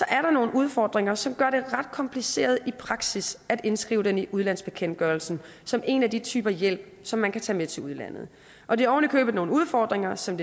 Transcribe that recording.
er nogle udfordringer som gør det ret kompliceret i praksis at indskrive det i udlandsbekendtgørelsen som en af de typer hjælp som man kan tage med til udlandet og det er ovenikøbet nogle udfordringer som